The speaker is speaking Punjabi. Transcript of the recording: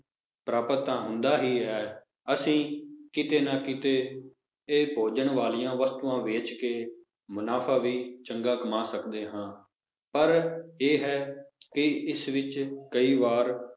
ਪ੍ਰਾਪਤ ਤਾਂ ਹੁੰਦਾ ਹੀ ਹੈ ਅਸੀਂ ਕਿਤੇ ਨਾ ਕਿਤੇ ਇਹ ਭੋਜਨ ਵਾਲੀਆਂ ਵਸਤੂਆਂ ਵੇਚ ਕੇ ਮੁਨਾਫ਼ਾ ਵੀ ਚੰਗਾ ਕਮਾ ਸਕਦੇ ਹਾਂ, ਪਰ ਇਹ ਹੈ ਕਿ ਇਸ ਵਿੱਚ ਕਈ ਵਾਰ